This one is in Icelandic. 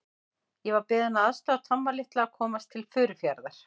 Ég var beðinn að aðstoða Tomma litla að komast til Furufjarðar.